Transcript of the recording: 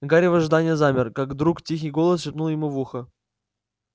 гарри в ожидании замер как вдруг тихий голос шепнул ему в ухо